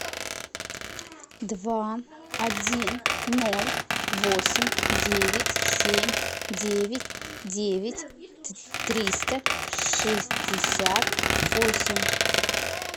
два один ноль восемь девять семь девять девять триста шестьдесят восемь